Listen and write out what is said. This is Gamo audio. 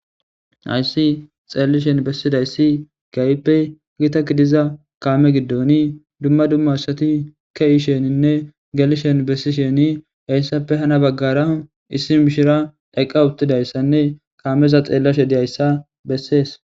Ayssi xeellishen bessidayssi gaype gita gidiza kaame giddoni dumma dumma asati ke7isheninne gelishen bessisheni heyssappe hana baggara issi mishira eqqa uttidayssanne kaameza xeellashe diyayssa bessees